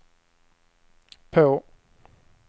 på